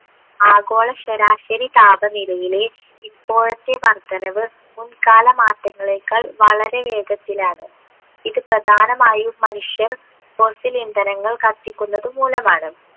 ആഗോള ശരാശരി താപനിലയിലെ ഇപ്പോഴത്തെ വർദ്ധനവ് മുൻകാല മാറ്റങ്ങളെക്കാൾ വളരെ വേഗത്തിലാണ് ഇത് പ്രധാനമായും മനുഷ്യർ fossil ഇന്ധനങ്ങൾ കത്തിക്കുന്നത് മൂലമാണ്